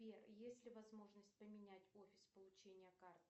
сбер есть ли возможность поменять офис получения карты